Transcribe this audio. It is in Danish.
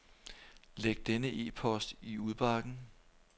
Læg denne e-post i udbakken.